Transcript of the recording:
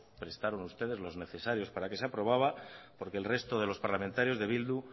prestaron ustedes los necesarios para que se aprobara porque el resto de los parlamentarios de bildu